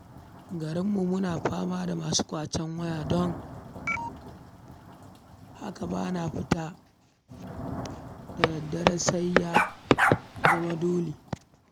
Garinmu muna fama da masu ƙwace waya, don haka ba na fita da dare sai ya zama dole.